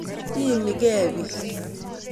Iimi kei piik.